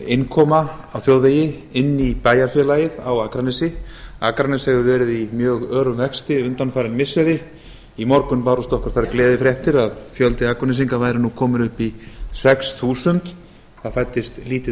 innkoma á þjóðvegi inn í bæjarfélagið á akranesi akranes hefur verið í mjög örum vexti undanfarin missiri í morgun bárust okkur þær gleðifréttir að fjöldi akurnesinga væri nú kominn upp í sex þúsund það fæddist lítið